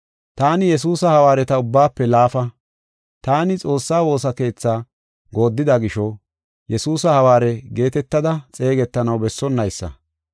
Taani Yesuusa hawaareta ubbaafe laafa. Taani Xoossaa woosa keethaa gooddida gisho Yesuusa hawaare geetetada xeegetanaw bessonnaysa.